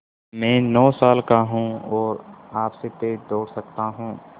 मैं नौ साल का हूँ और आपसे तेज़ दौड़ सकता हूँ